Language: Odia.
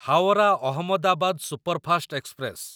Howrah Ahmedabad superfast express